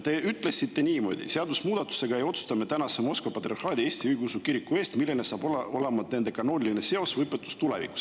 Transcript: Te ütlesite niimoodi: "Seadusemuudatusega ei otsusta me praeguse Moskva Patriarhaadi Eesti Õigeusu Kiriku eest seda, milline hakkab olema nende kanooniline seos või õpetus tulevikus.